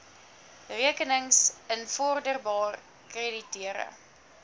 rekenings invorderbaar krediteure